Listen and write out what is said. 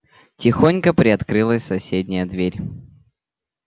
тихонько приоткрылась соседняя дверь